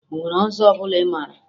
O nwere ọzọ ọbụla ị mara?